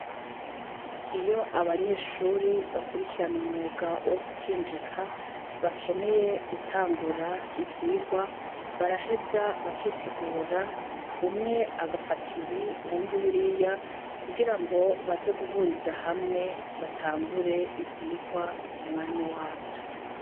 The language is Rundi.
Iyo abanyeshure bakurikirana umwuga wo gukinjika bakeneye gutangura ivyigwa baraheza bakitegura umwe agafata ibi uwundi birya kugira ngo baze guhuriza hamwe batangure ivyigwa kumwanya wavyo.